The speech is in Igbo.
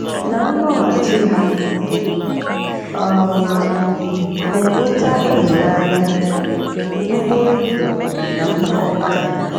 Na nloghachi, ha um na-enweta ịhụnanya, nkpori ndụ, na mkpakọrịta.